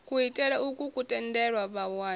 kuitele ukwu ku tendela vhawani